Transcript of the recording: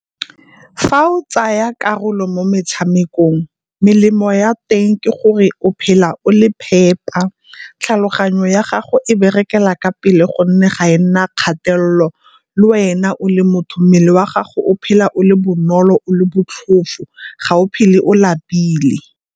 Fa o tsaya karolo mo metshamekong melemo ya teng ke gore o phela o le phepa tlhaloganyo ya gago e berekela ka pele gonne ga e nna kgatelelo, le wena o le motho mmele wa gago o phela o le bonolo o le botlhofo ga o phele o lapile.